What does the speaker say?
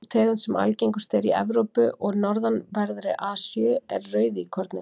sú tegund sem algengust er í evrópu og norðanverðri asíu er rauðíkorninn